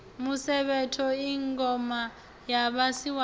musevhetho i ngoma ya vhasiwana